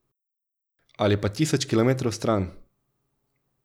Ali pa tisoč kilometrov stran.